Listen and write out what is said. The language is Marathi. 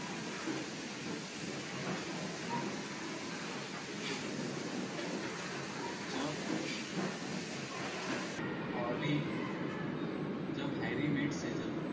जॉब हारी जब हॅरी मेट सेजल